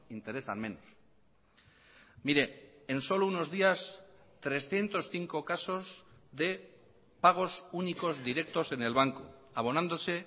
interesan menos mire en solo unos días trescientos cinco casos de pagos únicos directos en el banco abonándose